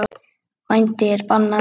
Vændi er bannað.